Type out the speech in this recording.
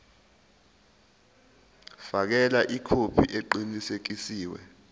fakela ikhophi eqinisekisiwe